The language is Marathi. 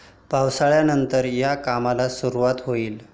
पावसाळ्यानंतर या कामाला सुरूवात होईल.